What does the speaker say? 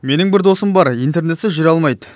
менің бір досым бар интернетсіз жүре алмайды